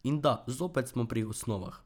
In da, zopet smo pri osnovah.